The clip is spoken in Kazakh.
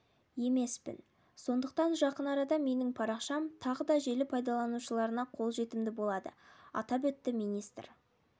емеспін сондықтан жақын арада менің парақшам тағы да желі пайдаланушыларына қолжетімді болады атап өтті министр